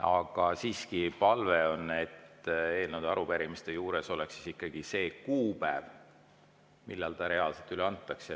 Aga siiski on palve, et eelnõude ja arupärimiste juures oleks ikkagi see kuupäev, millal need reaalselt üle antakse.